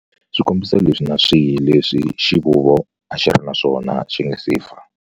Swikombiso leswi na swihi leswi xivuvo a xi ri na swona xi nga si fa.